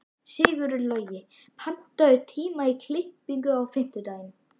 Sigurlogi, pantaðu tíma í klippingu á fimmtudaginn.